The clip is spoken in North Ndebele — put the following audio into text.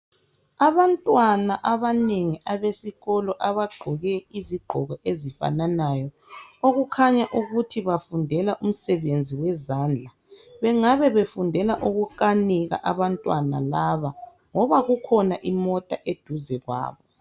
abantwana abanengi abesikolo abagqoke izigqoko ezifananayo okukhanya ukuthi bafundela umsebenzi wezandla bengabe befundela ukukanika abantwana lab ngoba ikhona imota eduze kwabo